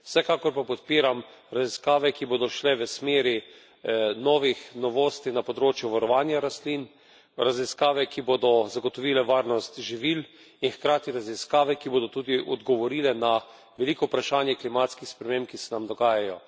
Vsekakor pa podpiram raziskave, ki bodo šle v smeri novih novosti na področju varovanja rastlin, raziskave, ki bodo zagotovile varnost živil, in hkrati raziskave, ki bodo tudi odgovorile na veliko vprašanje klimatskih sprememb, ki se nam dogajajo.